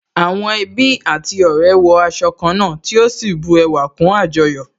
Àwọn ẹbí àti ọ̀rẹ́ wọ aṣọ ká náà tí ó sì bu ẹwà kún àjọyọ̀